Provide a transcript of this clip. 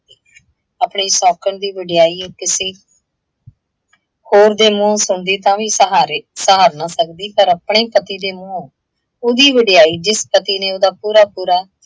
ਆਪਣੀ ਸੌਂਕਣ ਦੀ ਵਡਿਆਈ ਕਿਸੀ ਹੋਰ ਦੇ ਮੂੰਹੋਂ ਸੁਣਦੀ ਤਾਂ ਵੀ ਸਹਾਰੇ ਸਹਾਰ ਨਾ ਸੱਕਦੀ, ਪਰ ਅਪਣੇ ਹੀ ਪਤੀ ਦੇ ਮੂੰਹੋਂ ਉਹਦੀ ਵਡਿਆਈ, ਜਿਸ ਪਤੀ ਨੇ ਉਹਦਾ ਪੂਰਾ ਪੂਰਾ